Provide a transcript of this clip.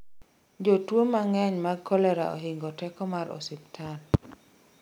jotuwo mang'eny mag kolera ohingo teko mar osiptal